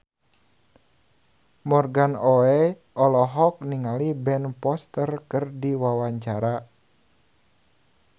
Morgan Oey olohok ningali Ben Foster keur diwawancara